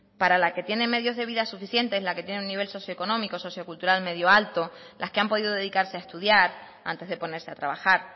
para la que tiene medios de vida suficientes la que tiene un nivel socio económico sociocultural medio alto las que ha podido dedicarse a estudiar antes de ponerse a trabajar